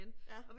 Ja